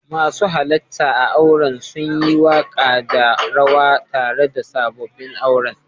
Masu halarta a'auren sun yi waka da rawa tare da sabobin auren.